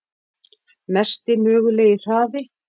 Mesti mögulegi hraði?